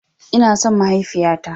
Ina son mahaifiya ta.